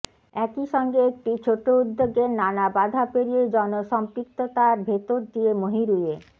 একই সঙ্গে একটি ছোট উদ্যোগের নানা বাধা পেরিয়ে জনসম্পৃক্ততার ভেতর দিয়ে মহিরুহে